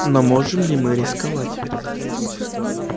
но можем ли мы рисковать